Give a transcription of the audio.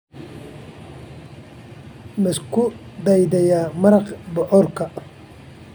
Ma isku dayday maraq bocorka?